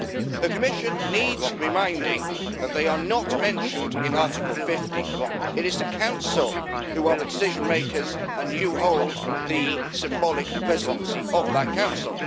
The Commission needs reminding that they are not mentioned in Article 50. It is the Council who are the decision makers and you hold the symbolic presidency of that Council.